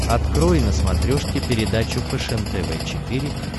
открой на смотрешке передачу фэшен тв четыре к